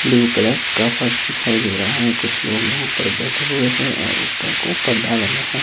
Blue colour का फर्श दिखाई दे रहा है कुछ लोग यहां पर बैठे हुए हैं और ऊपर को पर्दा लगा है।